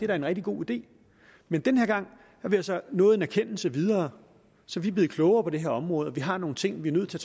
var en rigtig god idé men den her gang er vi altså nået en erkendelse videre så vi er blevet klogere på det her område og vi har nogle ting vi er nødt til